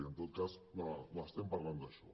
i en tot cas estem parlant d’això